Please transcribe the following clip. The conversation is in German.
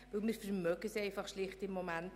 Wir vermögen es im Moment schlicht nicht.